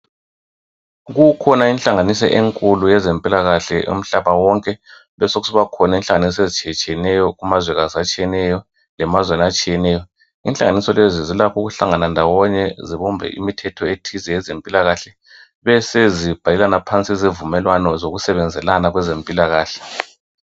Kukhona inhlanganiso enkulu yezempilakahle umhlaba wonke. Besokusiba khona inhlanganiso ezitshiyetshiyeneyo kumazwekazi atshiyeneyo lemazweni atshiyeneyo. Inhlanganiso lezi zilakho ukuhlangana ndawonye zibumbe imithetho ethize eyezempilakahle besezibhalelana phansi izivumelwano zokusebenzelana kwezempilakahle.